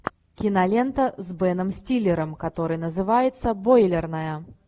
кинолента с беном стиллером которая называется бойлерная